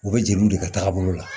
U bɛ jeliw de kɛ taga bolo la